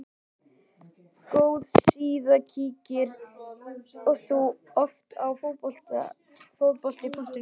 Góð síða Kíkir þú oft á Fótbolti.net?